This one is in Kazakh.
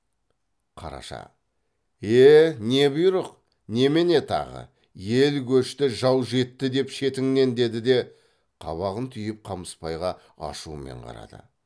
қараша е не бұйрық немене тағы ел көшті жау жетті деп шетіңнен деді де қабағын түйіп қамысбайға ашумен қарады